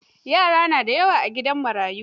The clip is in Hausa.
Yara na da yawa a gidan marayu.